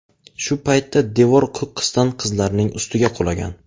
Shu paytda devor qo‘qqisdan qizlarning ustiga qulagan.